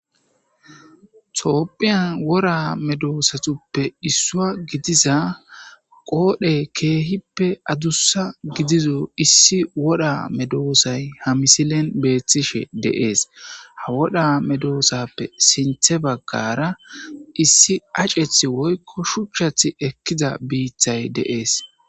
toopphiyan wora medoosatuppe issua gidiza qoodhe keehippe adussa gidizo issi woda medoosay ha misilen beeththishe deees ha woda medoosappe sinthe baggara issi acceth woykko shuchchath ekkida biithay deees